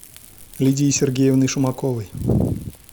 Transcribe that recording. лидией сергеевной шумаковой